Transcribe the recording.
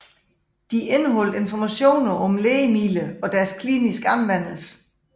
De indeholdt informationer om lægemidler og deres kliniske anvendelse